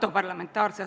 Auväärt ettekandja!